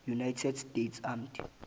united states armed